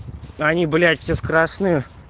они блять все с красным